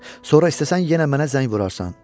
Sonra istəsən yenə mənə zəng vurarsan.